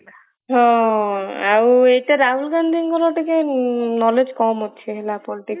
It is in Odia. ହଁ ଏଇଟା ରାହୁଲ ଗାନ୍ଧୀଙ୍କର ଟିକେ knowledge କମ ଅଛି ହେଲା politics